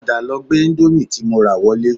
Padà lọ gbé indomie tí mo rà wọlé